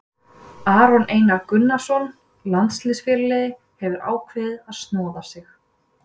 Aron Einar Gunnarsson, landsliðsfyrirliði, hefur ákveðið að snoða sig.